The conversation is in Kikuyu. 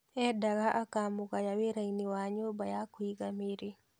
Endaga akamũgaya wĩra-inĩ wa nyũmba ya kũiga mĩrĩ.